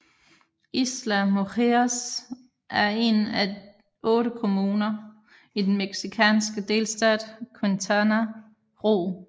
Isla Mujeres er en af otte kommuner i den mexicanske delstat Quintana Roo